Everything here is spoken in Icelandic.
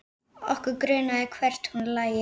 Okkur grunaði hvert hún lægi.